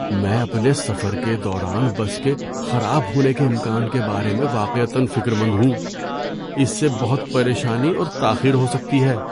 میں اپنے سفر کے دوران بس کے خراب ہونے کے امکان کے بارے میں واقعتاََ فکر مند ہوں۔ اس سے بہت پریشانی اور تاخیر ہو سکتی ہے۔